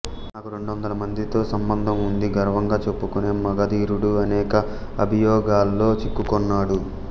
నాకు రెండొందల మంది తో సంబంధం ఉంది గర్వం గా చెప్పుకొనే మగధీరుడు అనేక అభియోగాల్లో చిక్కుకొన్నాడు